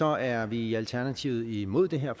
er vi i alternativet imod det her